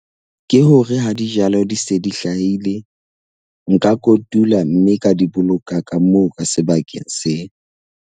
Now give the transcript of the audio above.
Ke hore ha dijalo di se di hlahile nka kotula mme ka di boloka ka moo ka sebakeng seo.